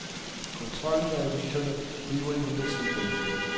Kontrollen med aviserne bliver imidlertid i familien.